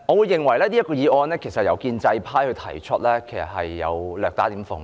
這項議案由建制派提出，我認為其實略帶諷刺。